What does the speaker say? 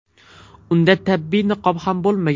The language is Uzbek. Unda tibbiy niqob ham bo‘lmagan.